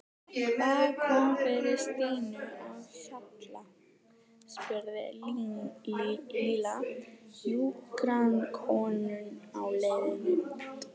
Hvað kom fyrir Stínu á Hjalla? spurði Lilla hjúkrunarkonuna á leiðinni út.